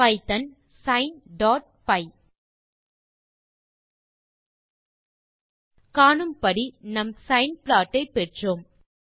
Python sineபை காணும்படி நம் சைன் ப்ளாட் ஐ பெற்றோம்